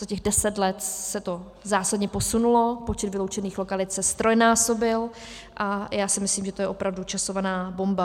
Za těch deset let se to zásadně posunulo, počet vyloučených lokalit se ztrojnásobil a já si myslím, že to je opravdu časovaná bomba.